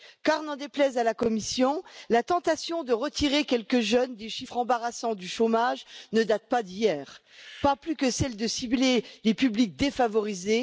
Car, n'en déplaise à la Commission, la tentation de retirer quelques jeunes des chiffres embarrassants du chômage ne date pas d'hier, pas plus que celle de cibler les publics défavorisés.